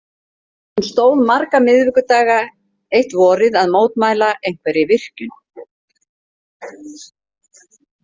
Hún stóð marga miðvikudaga eitt vorið að mótmæla einhverri virkjun.